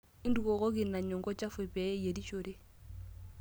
Ntukuokoki ina nyungu chafu pee ayierishore.